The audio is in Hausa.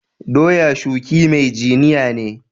Doya shuki mai jiniya ne.